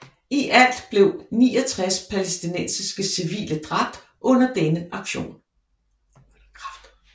I alt blev 69 palæstinensiske civile dræbt under denne aktion